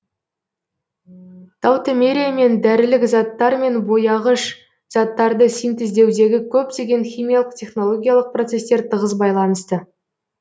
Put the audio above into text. таутомериямен дәрілік заттар мен бояғыш заттарды синтездеудегі көптеген химиялық технологиялық процестер тығыз байланысты